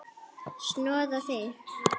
Snoða þig?